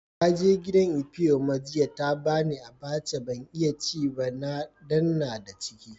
Na je gidan Ifeoma jiya, ta ba ni abacha. Ban iya ci ba dan n'na da ciki.